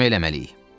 Ona kömək eləməliyik.